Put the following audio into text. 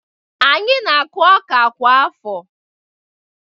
Anyị na-akụ ọka kwa afọ